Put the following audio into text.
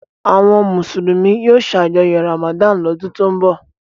Àwọn Mùsùlùmí yóò ṣàjọyọ̀ Ramadan lọ́dún tó ń bọ̀.